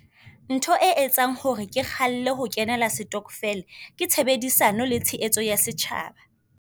Ntho e etsang hore ke kgalle ho kenela setokofele ke tshebedisano, le tshehetso ya setjhaba.